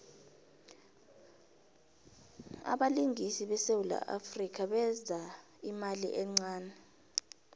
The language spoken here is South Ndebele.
abelingisi besewula afrika beza imali encane